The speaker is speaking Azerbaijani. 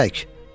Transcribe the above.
Çək!